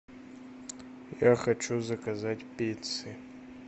я хочу заказать пиццы